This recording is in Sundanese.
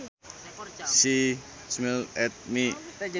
She smiled at me